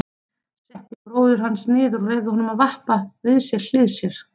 Setti bróður hans niður og leyfði honum að vappa við hlið sér.